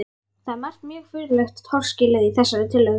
Það er margt mjög furðulegt og torskilið í þessari tillögu.